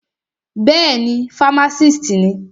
Bẹ́ẹ̀ni, fámásìst ni.